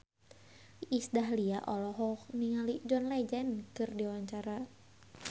Iis Dahlia olohok ningali John Legend keur diwawancara